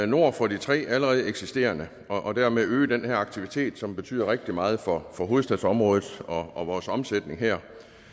nord for de tre allerede eksisterende og dermed at øge den her aktivitet som betyder rigtig meget for hovedstadsområdet og vores omsætning her